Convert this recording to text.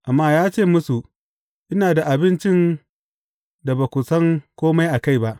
Amma ya ce musu, Ina da abincin da ba ku san kome a kai ba.